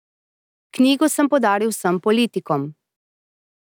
Knjigo sem podaril vsem politikom.